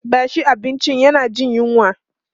bashi abinci yana Jin yunwa!